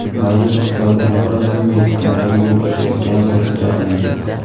Mavjud iqtisodiy inqiroz bunday fitnalarga yo‘l ochayotgani qo‘shimcha qilindi.